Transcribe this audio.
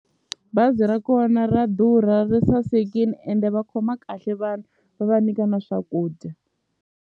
Bazi ra kona ra durha ri sasekini ende va khoma kahle vanhu va va nyika na swakudya.